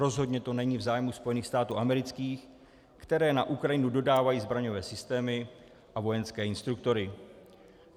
Rozhodně to není v zájmu Spojených států amerických, které na Ukrajinu dodávají zbraňové systémy a vojenské instruktory.